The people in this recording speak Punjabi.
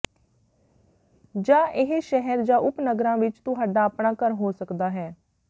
ਜਾਂ ਇਹ ਸ਼ਹਿਰ ਜਾਂ ਉਪਨਗਰਾਂ ਵਿਚ ਤੁਹਾਡਾ ਆਪਣਾ ਘਰ ਹੋ ਸਕਦਾ ਹੈ